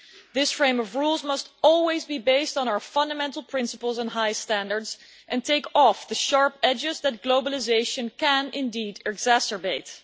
This frame of rules must always be based on our fundamental principles and high standards, and take off the sharp edges that globalisation can indeed exacerbate.